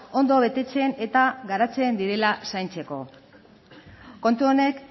ondo betetzen eta garatzen direla zaintzeko kontu honek